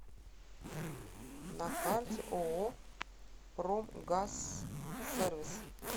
на карте ооо промгазсервис